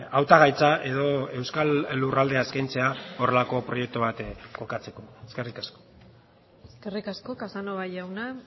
hautagaitza edo euskal lurraldea eskaintzea horrelako proiektu bat kokatzeko eskerrik asko eskerrik asko casanova jauna